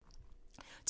TV 2